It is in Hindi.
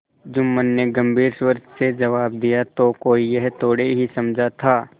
जुम्मन ने गम्भीर स्वर से जवाब दियातो कोई यह थोड़े ही समझा था